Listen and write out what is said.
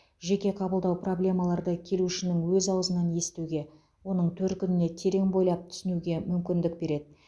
жеке қабылдау проблемаларды келушінің өз ауызынан естуге оның төркініне терең бойлап түсінуге мүмкіндік береді